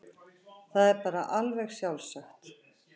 Það var bara alveg sjálfsagt.